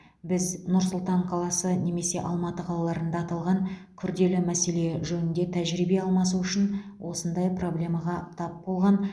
біз нұр сұлтан қаласы немесе алматы қалаларында аталған күрделі мәселе жөнінде тәжірибе алмасу үшін осындай проблемаға тап болған